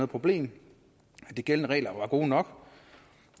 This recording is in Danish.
problem at de gældende regler var gode nok